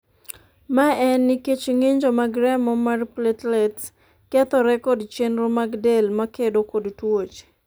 ma en nikech ng'injo mag remo mar platelets kethore kod chenro mag del makedo kod tuoche